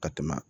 Ka tɛmɛ